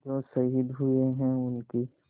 जो शहीद हुए हैं उनकी